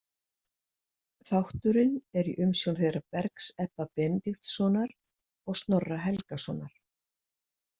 Þátturinn er í umsjón þeirra Bergs Ebba Benediktssonar og Snorra Helgasonar.